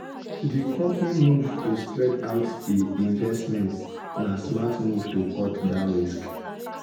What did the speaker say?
di company move to spread out e investments na smart move to cut down risk.